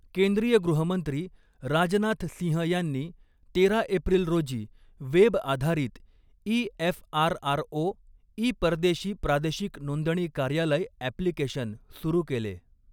केंद्रीय गृहमंत्री राजनाथ सिंह यांनी तेरा एप्रिल रोजी वेब आधारित ई एफआरआरओ ई परदेशी प्रादेशिक नोंदणी कार्यालय ॲप्लिकेशन सुरू केले.